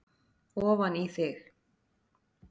ofan í þig.